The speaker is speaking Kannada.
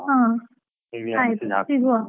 ಹಾ ಆಯ್ತು .